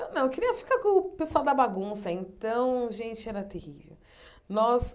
Eu não eu queria ficar com o pessoal da bagunça, então, gente, era terrível. Nós